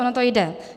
Ono to jde.